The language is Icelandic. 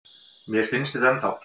Mér finnst þetta ennþá.